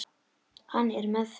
Hann er með þeim.